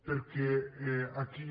perquè aquí